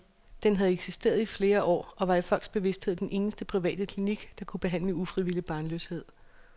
Den havde eksisteret i flere år og var i folks bevisthed den eneste private klinik, der kunne behandle ufrivillig barnløshed.